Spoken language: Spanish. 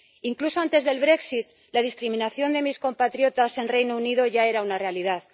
Incluso antes del brexit la discriminación de mis compatriotas en el Reino Unido ya era una realidad.